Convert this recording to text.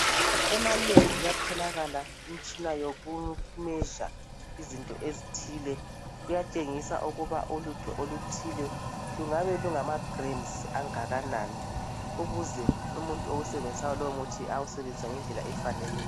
Emalebhu kuyatholakala imitshina yoku "measure" izinto ezithile, kuyatshengisa ukuba ulutho oluthile lungabe lungama "grams" angakanani ukuze umuntu owusebenzisayo lowo muthi awusebenzise ngendlela efaneleyo.